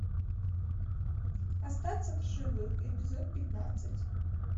остаться в живых эпизод пятнадцать